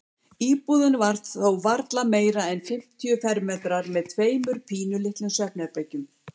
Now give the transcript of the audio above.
Íbúðin var þó varla meira en fimmtíu fermetrar með tveimur pínulitlum svefnherbergjum.